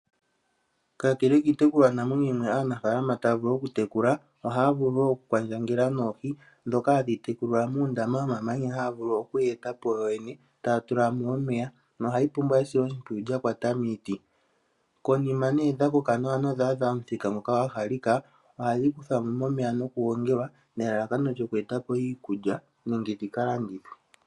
Kakele kiitekulwanamwenyo mbyono aanafaalama taya vulu okutekula, ohaya vulu wo okukwandjangela noohi ndhoka hadhi tekulilwa muundama womamanya mboka haya vulu oku wu eta po wowene taya tula mo omeya, nohayi pumbwa esiloshimpwiyu lya kwata miiti. Konima dha koka nawa nodha adha omuthika ngoka gwa halika, ohadhi kuthwa mo momeya nokugongelwa nelalakano lyokugandja iikulya nenge dhi ka landithwe.